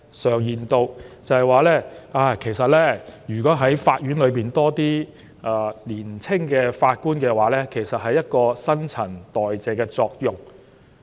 常言道，如果法院能有更多年輕法官，將可產生新陳代謝的作用。